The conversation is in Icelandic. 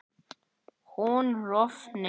hún rofni